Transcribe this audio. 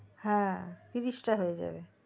হ্যা তিরিশটা হয়ে যাবে